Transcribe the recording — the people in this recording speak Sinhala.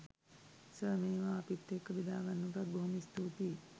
සර් මේවා අපිත් එක්ක බෙදාගන්නවට බොහොම ස්තූතියි